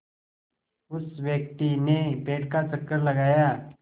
उस व्यक्ति ने पेड़ का चक्कर लगाया